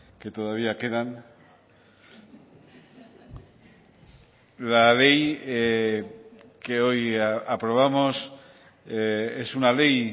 que todavía quedan la ley que hoy aprobamos es una ley